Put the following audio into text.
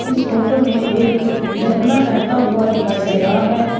इस फोटो में एक झरना बहता हुआ दिखाई दे रहा है।